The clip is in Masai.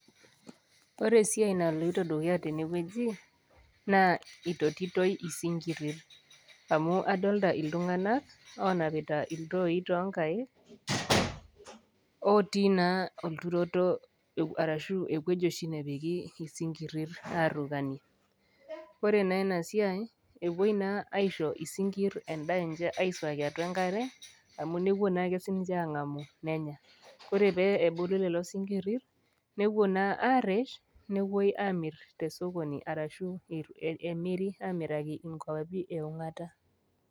Ore esiai naloito dukuya tene wueji, naa eitotitoi isinkirir, amu adolita iltung'anak, oonapita iltooi too inkaik, otii naa olturoto ashu ewueji oshi napiki isinkirir aarukanie. Ore naa ena siai ewuoi naa aisho isinkirir endaa enche aisuaki atua enkare, amu newuo naake sininche aangamu nenya, ore pee ebulu lelo sinkirir, nepuoi naa aresh, nepuoi naa amir te sokoni, arashu emiri amiraki inkwapi e ong'ata.